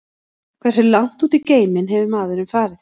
Hversu langt út í geiminn hefur maðurinn farið?